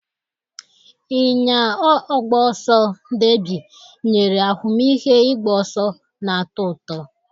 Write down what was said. Ịnya ọgba ọsọ deebi nyere ahụmịhe ịgba ọsọ na-atọ ụtọ.